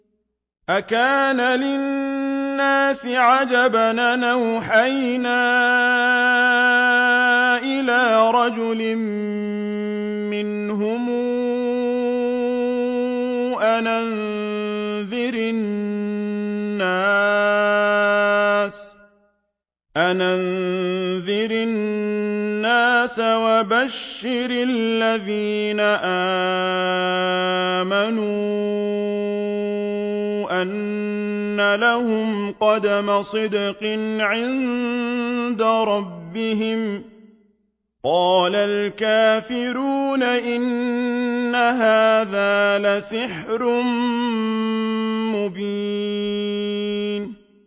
أَكَانَ لِلنَّاسِ عَجَبًا أَنْ أَوْحَيْنَا إِلَىٰ رَجُلٍ مِّنْهُمْ أَنْ أَنذِرِ النَّاسَ وَبَشِّرِ الَّذِينَ آمَنُوا أَنَّ لَهُمْ قَدَمَ صِدْقٍ عِندَ رَبِّهِمْ ۗ قَالَ الْكَافِرُونَ إِنَّ هَٰذَا لَسَاحِرٌ مُّبِينٌ